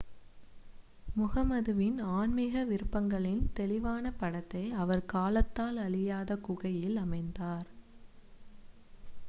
முஹம்மதுவின் ஆன்மீக விருப்பங்களின் தெளிவான படத்தை அவர் காலத்தால் அழியாத குகையில் அமைத்தார்